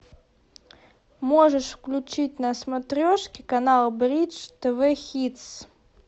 можешь включить на смотрешке канал бридж тв хитс